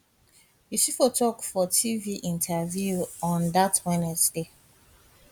usifo tok for tv interview on dat wednesday